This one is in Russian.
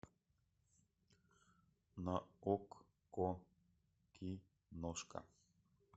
на окко киношка